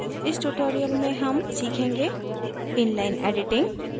इस tutorial में हम सीखेंगे inline editing